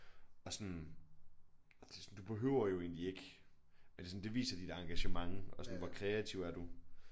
Og sådan ej det sådan du behøver jo egentlig ikke er det sådan det viser dit engagement og sådan hvor kreativ er du